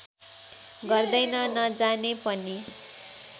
गर्दैन नजाने पनि